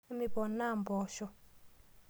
Emipoona mboosho?